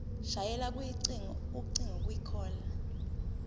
shayela ucingo kwicall